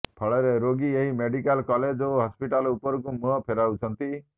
ଫଳରେ ରୋଗୀ ଏହି ମେଡିକାଲ କଲେଜ ଓ ହସ୍ପିଟାଲ ଉପରୁ ମୁହଁ ଫେରାଉଛନ୍ତି